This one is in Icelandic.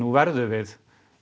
verðum við